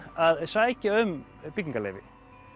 að sækja um byggingarleyfi